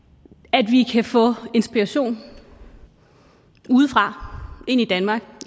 at vi kan få inspiration udefra ind i danmark